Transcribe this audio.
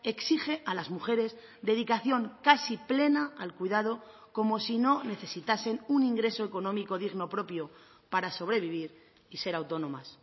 exige a las mujeres dedicación casi plena al cuidado como si no necesitasen un ingreso económico digno propio para sobrevivir y ser autónomas